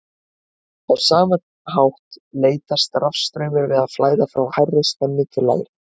á sama hátt leitast rafstraumur við að flæða frá hærri spennu til lægri